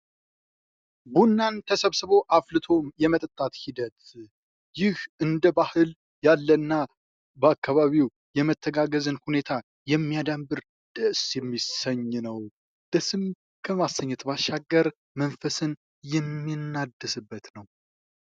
ቡናን ተሰብስቦ ፣ አፍልቶ የመጠጣት ሂደት ፦ ይህ እንደ ባህል ያለና በአካባቢው የመተጋገዝን ሁኔታ የሚያዳብር ደስ የሚያሰኝ ነው ። ደስም ከማሰኘት ባሻገር መንፈስን የምናድስበት ነው ።